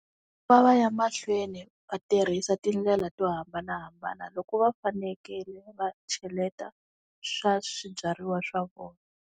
Ku va va ya mahlweni va tirhisa tindlela to hambanahambana loko va fanekele va cheleta swa swibyariwa swa vona.